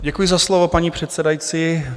Děkuji za slovo, paní předsedající.